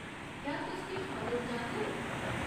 क्या तुस किश मदद चांह्दे ओ?